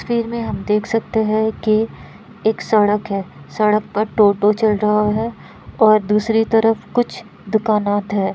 इस तस्वीर में हम देखते सकते है कि एक सड़क है सड़क पर टोटो चल रहा है और दूसरी तरफ कुछ दुकानात है।